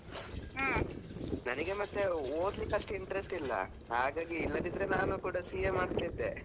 ಹ್ಮ್ ನನಿಗೆ ಮತ್ತೆ ಓದ್ಲಿಕಷ್ಟು interest ಇಲ್ಲ ಹಾಗಾಗಿ ಇಲ್ಲದಿದ್ರೆ ನಾನು ಕೂಡ CA ಮಾಡ್ತಿದ್ದೆ.